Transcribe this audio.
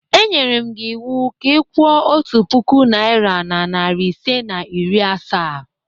E nyere m gị iwu ka ị kwụọ otu puku naịra na narị ise na iri asaa!